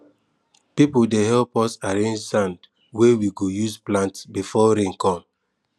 people dey help us arrange sand wey we go use plant before rain come